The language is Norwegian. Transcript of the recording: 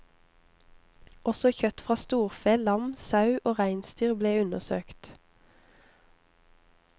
Også kjøtt fra storfe, lam, sau og reinsdyr ble undersøkt.